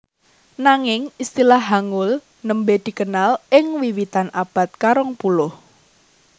Nanging istilah Hangul nembé dikenal ing wiwitan abad karongpuluh